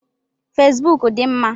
Fesbụụk dị mma.